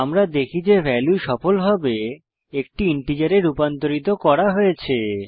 আমরা দেখি যে ভ্যালু সফলভাবে একটি ইন্টিজারে রূপান্তরিত করা হয়েছে